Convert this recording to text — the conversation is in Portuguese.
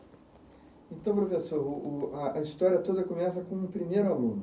Então, professor, o o a, a história toda começa com um primeiro aluno.